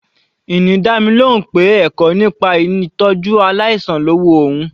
Ini dá mi lóhùn pé ẹ̀kọ́ ìpìlẹ̀ nípa ìtọ́jú aláìsàn lọ́ wu òun.